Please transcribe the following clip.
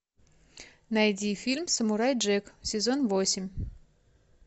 найди фильм самурай джек сезон восемь